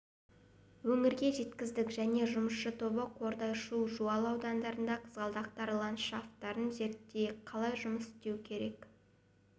өңірге жеткіздік және жұмысшы тобы қордай шу жуалы аудандарында қызғалдақтар ландшафтарын зерттеп қалай жұмыс істеу